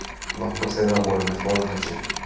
Nokkur þeirra voru með foreldrum sínum